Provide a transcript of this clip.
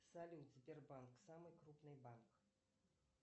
салют сбербанк самый крупный банк